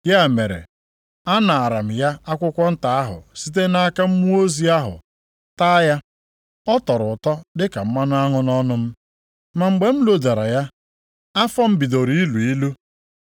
Ya mere, anaara m ya akwụkwọ nta ahụ site nʼaka mmụọ ozi ahụ taa ya. Ọ tọrọ ụtọ dịka mmanụ aṅụ nʼọnụ m, ma mgbe m lodara ya, afọ m bidoro ilu ilu.